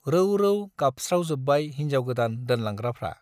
रौ रौ गाबस्रावजोब्बाय हिन्जाव गोदान दोनलांग्राफ्रा।